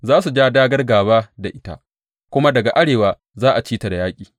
Za su ja dāgār gāba da ita, kuma daga arewa za a ci ta da yaƙi.